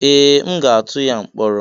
Ee! M ga-atụ ya mkpọrọ.